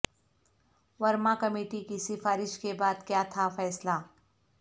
Verma committee کی سفارش کے بعد کیا تھا فیصلہ